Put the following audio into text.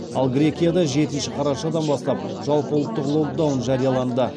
ал грекияда жетінші қарашадан бастап жалпыұлттық локдаун жарияланды